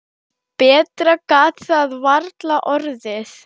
Betra gat það varla orðið.